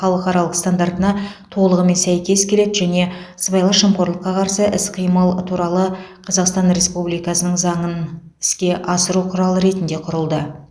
халықаралық стандартына толығымен сәйкес келеді және сыбайлас жемқорлыққа қарсы іс қимыл туралы қазақстан республикасының заңын іске асыру құралы ретінде құрылды